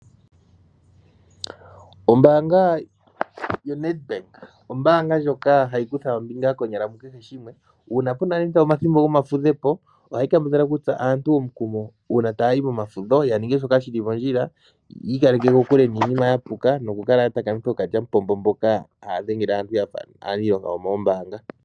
Ombaanga yoNedbank, ombaanga ndjoka hayikutha ombinga konyala mukeshe shimwe, uuna puna nande omathimbo gomafudhepo, ohayi kambadhala okutsa aantu omukumo uuna taayi momafudho, yaninge shoka shili mondjila, yiikaleke kokule niinima yapuka, nokukala yatakamitha ookalyamupombo mboka haadhengele aantu yafa aniilonga yomoo mbaanga.